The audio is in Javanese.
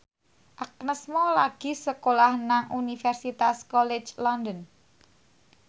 Agnes Mo lagi sekolah nang Universitas College London